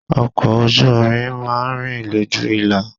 Ọkọ̀ ojú irin máa ń rìn lójú ìlà.